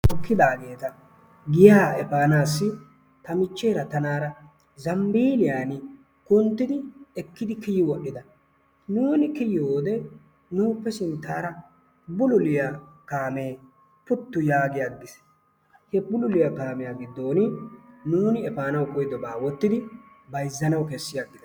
tookidaageeta giyaa efanassi ta michcheera taanara zambbiyaan kunttidi ekkdi kiyi wodhdhida nuuni kiyyiyoode nuuppe sinttaara bulluliyaa kaamee puti yaagi agiisi. he bulluliyaa kaamiya giddon nuuni efanaw koyyidooba wottidi bayzzi aggidaa.